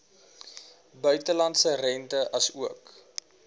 buitelandse rente asook